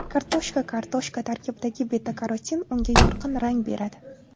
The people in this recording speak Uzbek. Kartoshka Kartoshka tarkibidagi beta-karotin unga yorqin rang beradi.